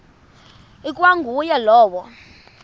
ikwa nguye lowo